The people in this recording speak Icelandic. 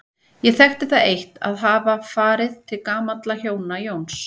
Ég þekkti það eitt að hafa farið til gamalla hjóna, Jóns